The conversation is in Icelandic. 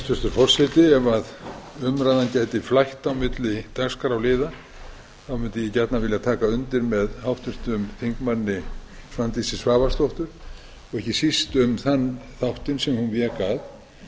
hæstvirtur forseti ef umræðan gæti flætt á milli dagskrárliða mundi ég gjarnan vilja taka undir með háttvirtum þingmanni svandísi svavarsdóttur og ekki síst um þann þáttinn sem hún vék að að